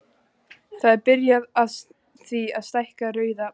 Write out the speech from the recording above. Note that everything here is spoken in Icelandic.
Það er byrjað á því að stækka Rauða braggann.